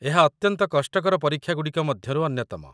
ଏହା ଅତ୍ୟନ୍ତ କଷ୍ଟକର ପରୀକ୍ଷାଗୁଡ଼ିକ ମଧ୍ୟରୁ ଅନ୍ୟତମ